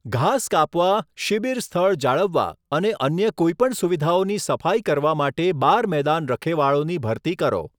ઘાસ કાપવા, શિબિર સ્થળ જાળવવા અને અન્ય કોઈ પણ સુવિધાઓની સફાઈ કરવા માટે બાર મેદાન રખેવાળોની ભરતી કરો.